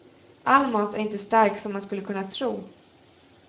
All mat är inte stark som man skulle kunna tro.